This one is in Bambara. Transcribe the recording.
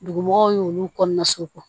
Dugumɔgɔw y'olu kɔnɔna so